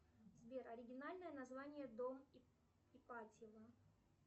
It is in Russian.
сбер оригинальное название дом ипатьева